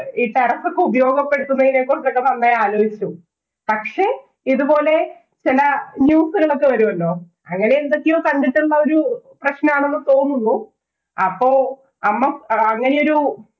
ഈ terrace ഒക്കെ ഉപയോഗപ്പെടുത്തുന്നതിനെ കുറിച്ചൊക്കെ നന്നായി ആലോചിച്ചു. പക്ഷേ, ഇതുപോലെ ചില news കള്‍ ഒക്കെ വരൂലോ. അങ്ങനെ എന്തൊക്കെയോ കണ്ടിട്ടുള്ള ഒരു പ്രശ്നം ആണെന്ന് തോന്നുന്നു. അപ്പോ അമ്മ അങ്ങനെ ഒരു